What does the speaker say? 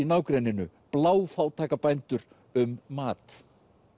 nágrenninu bændur um mat